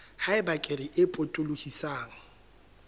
ha eba kere e potolohisang